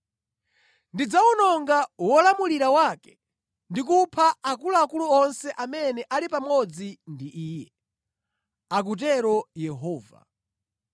Ndidzawononga wolamulira wake ndi kupha akuluakulu onse amene ali pamodzi ndi iye,” akutero Yehova.